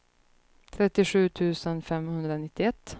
trettiosju tusen femhundranittioett